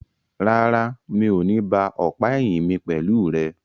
Rárá, mi o ní ba ọ̀pá ẹ̀yìn mi pẹ̀lú rẹ.